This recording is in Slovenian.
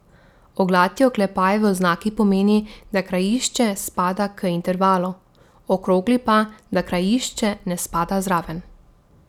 Oglati oklepaj v oznaki pomeni, da krajišče spada k intervalu, okrogli pa, da krajišče ne spada zraven.